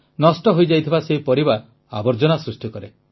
ନଷ୍ଟ ହୋଇଯାଇଥିବା ସେହି ପରିବା ଆବର୍ଜନା ସୃଷ୍ଟି କରେ